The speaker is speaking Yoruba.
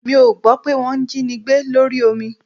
Mi ò gbọ́ pé wọ́ jínigbé lórí omi